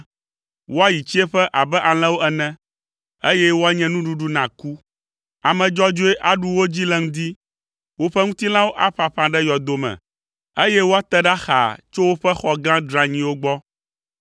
Woayi tsiẽƒe abe alẽwo ene, eye woanye nuɖuɖu na ku. Ame dzɔdzɔe aɖu wo dzi le ŋdi, woƒe ŋutilãwo aƒaƒã ɖe yɔdo me, eye woate ɖa xaa tso woƒe xɔ gã dranyiwo gbɔ.